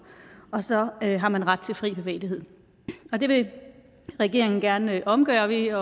og så har man ret til fri bevægelighed det vil regeringen gerne omgøre ved at